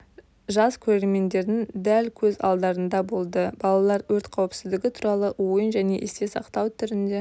жас көрермендердің дәл көз алдарында болды балалар өрт қауіпсіздігі туралы ойын және есте сақтау түрінде